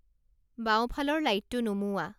বাওঁফালৰ লাইটটো নুমুওৱা